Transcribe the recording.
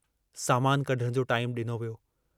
सामानु कढण जो टाईमु डिनो वियो।